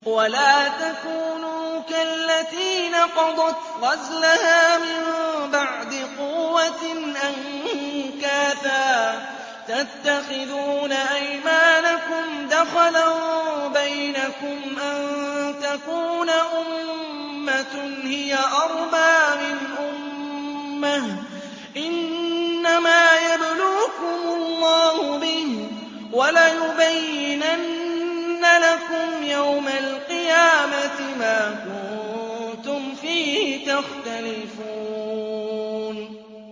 وَلَا تَكُونُوا كَالَّتِي نَقَضَتْ غَزْلَهَا مِن بَعْدِ قُوَّةٍ أَنكَاثًا تَتَّخِذُونَ أَيْمَانَكُمْ دَخَلًا بَيْنَكُمْ أَن تَكُونَ أُمَّةٌ هِيَ أَرْبَىٰ مِنْ أُمَّةٍ ۚ إِنَّمَا يَبْلُوكُمُ اللَّهُ بِهِ ۚ وَلَيُبَيِّنَنَّ لَكُمْ يَوْمَ الْقِيَامَةِ مَا كُنتُمْ فِيهِ تَخْتَلِفُونَ